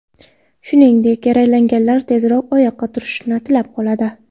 Shuningdek, yaralanganlar tezroq oyoqqa turishini tilab qoladi.